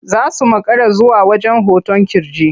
Za su makara zuwa wajen hoton ƙirji.